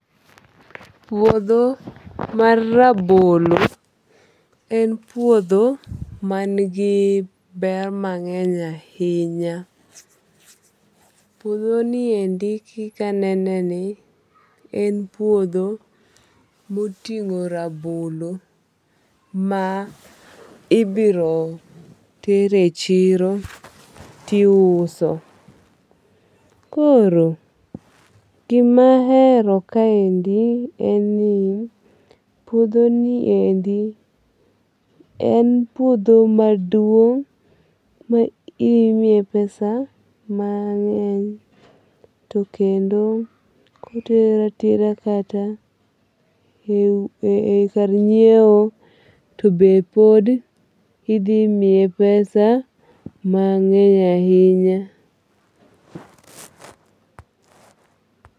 Puodho mar rabolo en puodho ma ni gi ber mang'eny ahinya. Puodho niendi kikanene ni en puodho moting'o rabolo ma ibiro ter e chiro tiuso. Koro, gimahero kaendi en ni puodho ni endi en puodho maduong ma imiye pesa mang'eny to kendo kotere atera kata e kar nyiewo to be pod idhi miye pesa mang'eny ahinya.